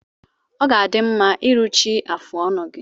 Ọ ga-adị mma iruchi afụ ọnụ gi